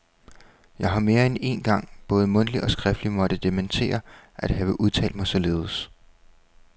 Jeg har mere end én gang både mundtligt og skriftligt måtte dementere at have udtalt mig således.